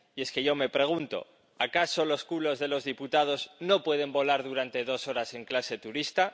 Y es que yo me pregunto ¿acaso los culos de los diputados no pueden volar durante dos horas en clase turista?